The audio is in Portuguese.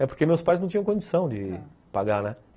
É porque meus pais não tinham condição de pagar, né?